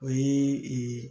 O ye ee